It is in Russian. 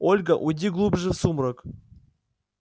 ольга уйди глубже в сумрак